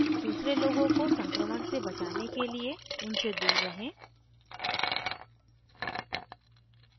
दूसरे लोगों को संक्रमण से बचाने के लिए उनसे दूर रहें